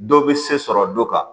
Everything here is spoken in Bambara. Dɔ bɛ se sɔrɔ dɔ kan